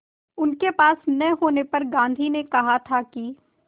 उनके पास न होने पर गांधी ने कहा था कि